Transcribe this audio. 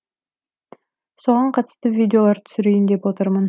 соған қатысты видеолар түсірейін деп отырмын